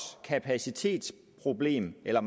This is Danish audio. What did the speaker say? kapacitetsproblem eller